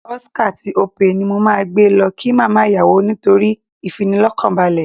Ocar tí Opay ni mo máa gbé lọ kí màmá ìyàwó nítorí ìfinilọ́kànbalẹ̀